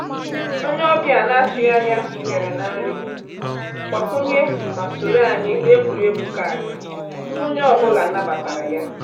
Onye ọbịa na-atụghị anya bịara na nri mgbakwunye ma sonyere anyị n’egwuregwu kaadị, onye ọ bụla nabatara ya.